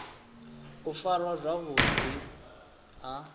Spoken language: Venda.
u farwa zwavhu ḓi ha